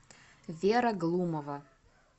вера глумова